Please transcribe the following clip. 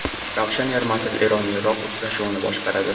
Ravshan Ermatov EronIroq uchrashuvini boshqaradi.